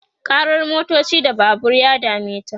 karar motoci da Babur ya dameta